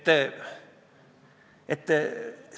640 eurot haridusasutuse juhile preemiaks ei ole ju tegelikult suur summa.